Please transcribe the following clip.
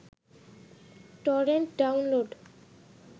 torrent download